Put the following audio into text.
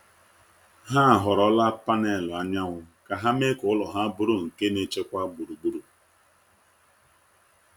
Ha họrọla panelụ anyanwụ ka ha mee ka ụlọ ha bụrụ nke na-echekwa gburugburu.